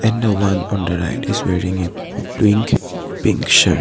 And the one on the right is wearing a pink pink shirt.